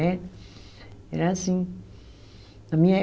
Era assim. Na minha